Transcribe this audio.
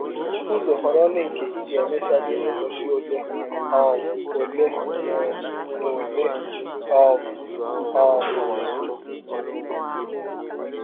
Bụrụ ụzọ họrọ ndị nke ị ga - emechali n’ụbọchị ọle um ọle um na ọle um. um